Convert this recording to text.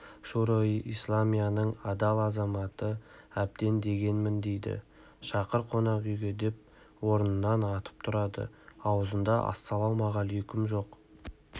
шуро-и-исламияның адал азаматы әбден дегенмін дейді шақыр қонақ үйге деп орнынан атып тұрды аузында ассалаумағалайкүмің жоқ